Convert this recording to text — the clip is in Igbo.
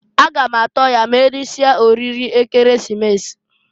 A ga m atọ ya m'erisie oriri Ekeresimesi.